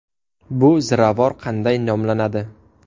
Bu ziravor qanday nomlanadi?